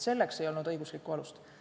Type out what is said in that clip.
Selleks ei olnud õiguslikku alust.